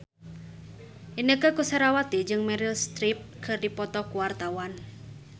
Inneke Koesherawati jeung Meryl Streep keur dipoto ku wartawan